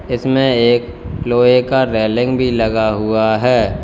इसमें एक लोहे का रेलिंग भी लगा हुआ है।